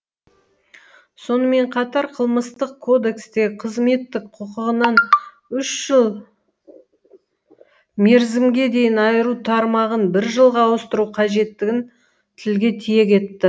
сонымен қатар қылмыстық кодекстегі қызметтік құқығынан үш жыл мерзімге дейін айыру тармағын бір жылға ауыстыру қажеттігін тілге тиек етті